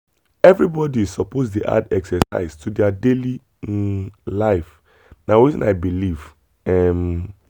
everybody suppose dey add exercise to their daily um life na wetin i believe. um